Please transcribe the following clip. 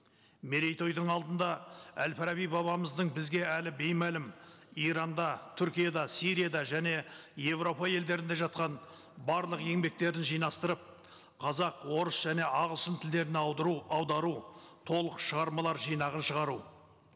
мерейтойдың алдында әл фараби бабамыздың бізге әлі беймәлім иранда түркияда сирияда және еуропа елдерінде жатқан барлық еңбектерін жинастырып қазақ орыс және ағылшын тілдеріне аудару толық шығармалар жинағын шығару